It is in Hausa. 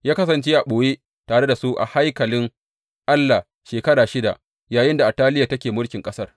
Ya kasance a ɓoye tare da su a haikalin Allah shekara shida, yayinda Ataliya take mulkin ƙasar.